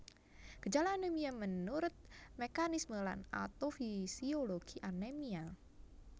Gejala anemia minurut mekanisme lan atofisiologi anemia